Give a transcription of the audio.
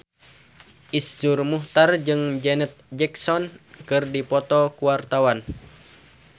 Iszur Muchtar jeung Janet Jackson keur dipoto ku wartawan